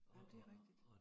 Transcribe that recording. Jamen det rigtigt